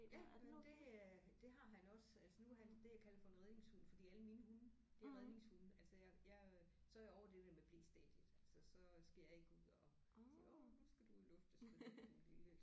Ja men det øh det har han også altså nu er han det jeg kalder for en redningshund fordi alle mine hunde det er redningshunde altså jeg jeg så er jeg over med det der med blestadiet altså så skal jeg ikke ud og sige åh nu skal du luftes fordi du en lille